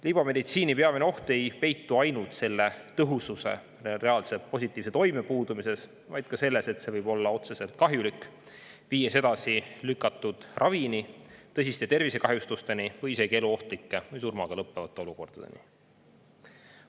Libameditsiini peamine oht ei peitu ainult selle tõhususe, reaalse positiivse toime puudumises, vaid ka selles, et see võib olla otseselt kahjulik, viies ravi edasilükkamiseni, tõsiste tervisekahjustusteni või isegi eluohtlike või surmaga lõppevate olukordadeni.